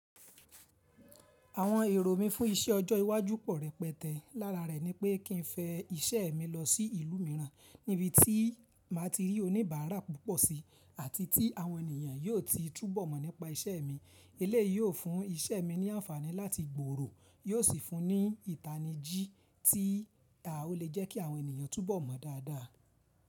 Àwọn èrò mí fún iṣẹ́ ọjọ́ iwájú pọ̀ rẹpẹtẹ. Lára rẹ̀ ni pé kí n fẹ́ iṣẹ́ mi lọ sí ìlú mìíràn níbi tí màá ti rí oníbàárà púpọ̀ si àti tí àwọn ènìyàn yóò ti túbọ̀ mọ̀ nípa iṣẹ́ mi. Èléyìí ó fún iṣẹ́ mi ní ànfàní láti gbòrò yó sì fún ní ìtani jí tí ó lè jẹ́ kí àwọn ènìyàn tún bọ̀ mọ̀ daada.